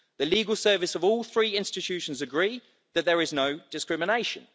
The Legal Services of all three institutions agree that there is no discrimination.